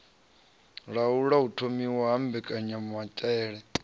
laula u thomiwa ha mbekanyamaitele